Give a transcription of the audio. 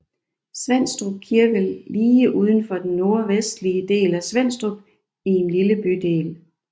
Svenstrup kirke lige udenfor den nordvestlige del af Svenstrup i en lille bydel